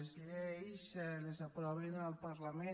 les lleis les aprova el parlament